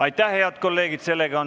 Aitäh, head kolleegid!